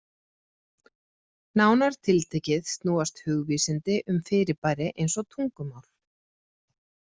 Nánar tiltekið snúast hugvísindi um fyrirbæri eins og tungumál.